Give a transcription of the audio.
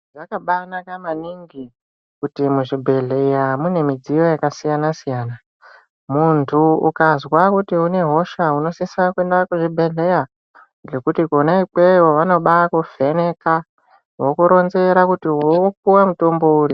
Zvakabanaka maningi kuti muzvibhehleya mune mudziyo yakasiyana -siyana .Muntu ukazwa kuti unehosha unosisa kuenda kuzvibhehlera ngekuti kona ikweyo vanobaa kuvheneka vokuronzera kuti vokupa mutombo uri.